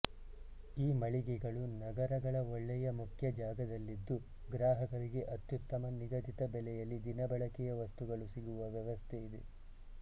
ಈ ಮಳಿಗೆಗಳು ನಗರಗಳ ಒಳ್ಳೆಯ ಮುಖ್ಯ ಜಾಗದಲ್ಲಿದ್ದು ಗ್ರಾಹಕರಿಗೆ ಅತ್ಯುತ್ತಮ ನಿಗದಿತ ಬೆಲೆಯಲ್ಲಿ ದಿನಬಳಕೆಯ ವಸ್ತುಗಳು ಸಿಗುವ ವ್ಯವಸ್ಥೆ ಇದೆ